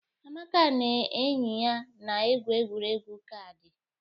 Amaka na enyi ya na-egwu egwuregwu kaadị.